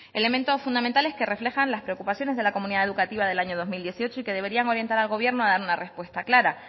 elementos fundamentales que reflejan las preocupaciones de la comunidad educativa del año dos mil dieciocho y que deberían orientar al gobierno a dar una respuesta clara